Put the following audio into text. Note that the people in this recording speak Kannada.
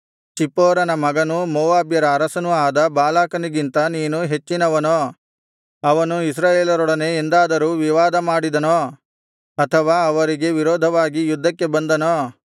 ಚಿಪ್ಪೋರನ ಮಗನೂ ಮೋವಾಬ್ಯರ ಅರಸನೂ ಆದ ಬಾಲಾಕನಿಗಿಂತ ನೀನು ಹೆಚ್ಚಿನವನೋ ಅವನು ಇಸ್ರಾಯೇಲರೊಡನೆ ಎಂದಾದರೂ ವಿವಾದಮಾಡಿದನೋ ಅಥವಾ ಅವರಿಗೆ ವಿರೋಧವಾಗಿ ಯುದ್ಧಕ್ಕೆ ಬಂದನೋ